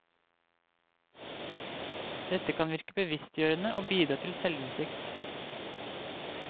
Dette kan virke bevisstgjørende og bidra til selvinnsikt.